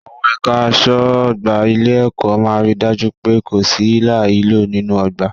Àwọn ẹ̀ka aṣọ́ ọgbà ilé-ẹ̀kọ́ máa ri dájú pé kò sí hílàhílo nínú ọgbà.